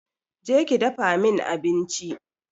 Je ki dafa min abinci